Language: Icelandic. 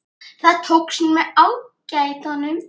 Það tókst með ágætum.